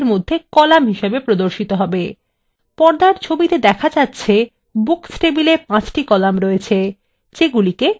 পর্দার ছবিতে দেখা যাচ্ছে books table ৫ the কলাম আছে যেগুলিকে ক্ষেত্র বলা has